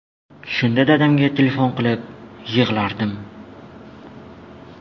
Shunda dadamga telefon qilib yig‘lardim.